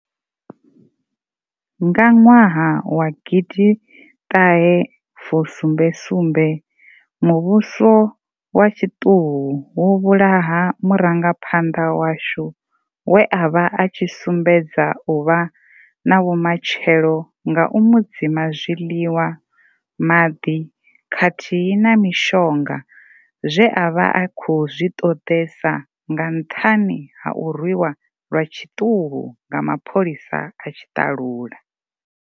Nga ṅwaha wa gidiṱahe fusumbe sumbe, muvhuso wa tshiṱuhu wo vhulaha murangaphanḓa washu we avha atshi sumbedza u vha na vhu matshelo nga u mu dzima zwiḽiwa, maḓi khathihi na mishonga zwe avha a khou zwi ṱoḓesa nga nṱhani ha u rwiwa lwa tshiṱuhu nga mapholisa a tshiṱalula.